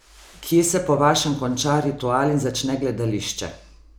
Kje se po vašem konča ritual in začne gledališče?